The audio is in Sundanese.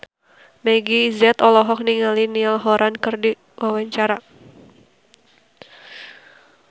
Meggie Z olohok ningali Niall Horran keur diwawancara